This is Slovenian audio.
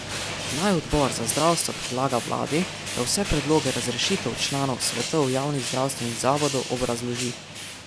Naj odbor za zdravstvo predlaga vladi, da vse predloge razrešitev članov svetov javnih zdravstvenih zavodov obrazloži.